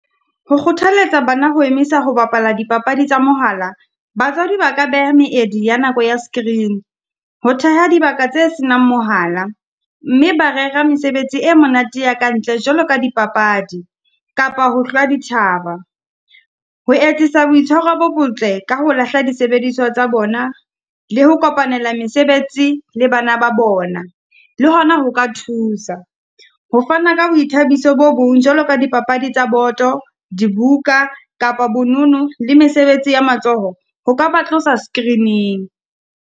Ho kgothalletsa bana ho emisa ho bapala dipapadi tsa mohala, batswadi ba ka beha meedi ya nako ya screen. Ho theha dibaka tse senang mohala, mme ba rera mesebetsi e monate ya ka ntle jwalo ka di papadi, kapa hohlwa dithaba. Ho etsisa boitshwaro bo botle ka ho lahla disebediswa tsa bona, le ho kopanela mesebetsi le bana ba bona, le hona ho ka thusa. Ho fana ka boithabiso bo bong jwalo ka di papadi tsa boto, dibuka kapa bonono le mesebetsi ya matsoho, ho ka ba tlosa screen-ing.